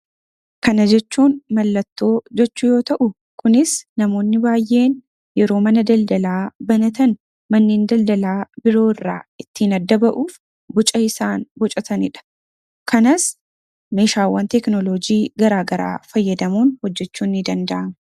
Kana jechuun mallattoo jechuu yoo ta'u kunis namoonni baay'een yeroo mana daldalaa banatan manneen daldalaa biroo irraa ittiin adda ba'uuf buca isaan bucataniidha. kanas meeshaawwan tekinoloojii garaa garaa fayyadamuun hojjechuun ni danda'ama.